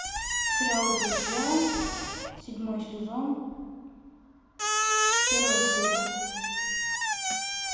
сериал друзья седьмой сезон первая серия